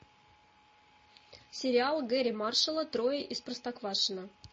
сериал гэрри маршалла трое из простоквашино